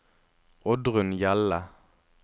Oddrun Hjelle